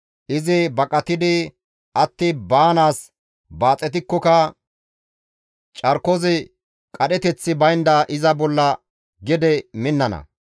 Izi baqatidi atti baanaas baaxetikkoka carkozi qadheteththi baynda iza bolla gede minnana.